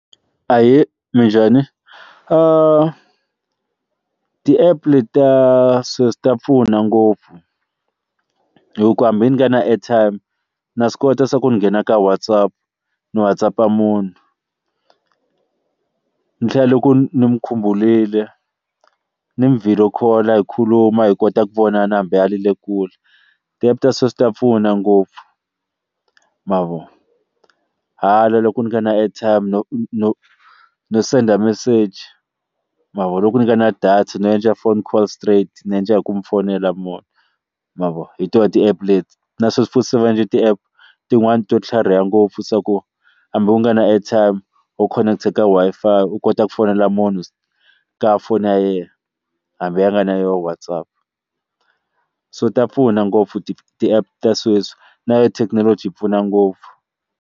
Ahee, minjhani? ti-app leti ta sweswi ta pfuna ngopfu hi ku hambi ni nga na airtime na swi kota se ku nghena ka WhatsApp ni WhatsApp-a munhu ni tlhela loko ni n'wi khumbulile ni n'wi video call hi khuluma hi kota ku vona na hambi a ri le kule ti-app ta sweswi ta pfuna ngopfu ma vo hala loko ni nga na airtime no no no send message ma vo loko ni nga na data no endla phone call straight ni endla hi ku n'wi fonela ma vo ma vo hi tona ti-app leti na swo sweswi va endle ti-app tin'wana to tlhariha ngopfu swa ku hambi u nga na airtime wo connect ka Wi-Fi u kota ku fonela munhu ka foni ya yena hambi a nga na yoho WhatsApp so ta pfuna ngopfu ti ti-app ta sweswi na yona thekinoloji yi pfuna ngopfu.